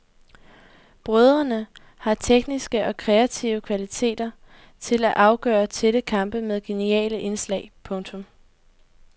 Brødrene har tekniske og kreative kvaliteter til at afgøre tætte kampe med geniale indslag. punktum